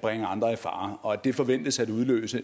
bringe andre i fare og det forventes at udløse